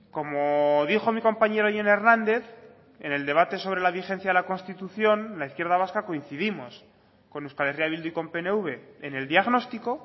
como dijo mi compañero jon hernández en el debate sobre la vigencia de la constitución la izquierda vasca coincidimos con euskal herria bildu y con pnv en el diagnóstico